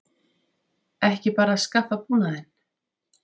Ekki bara að skaffa búnaðinn?